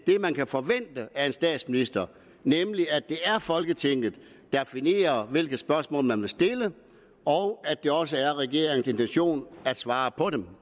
man kan forvente af en statsminister nemlig at det er folketinget der definerer hvilke spørgsmål man vil stille og at det også er regeringens intention at svare på dem